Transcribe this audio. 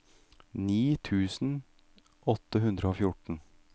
ni tusen åtte hundre og fjorten